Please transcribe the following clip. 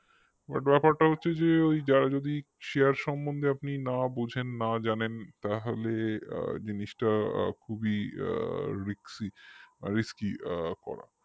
but ব্যাপারটা হচ্ছে যে ওই যদি সে সম্বন্ধে আপনি না বোঝেন না জানেন তাহলে আ জিনিসটা আ খুবই risky আ করা